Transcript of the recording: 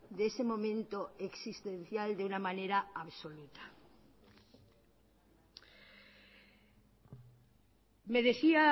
de ese momento existencial de una manera absoluta me decía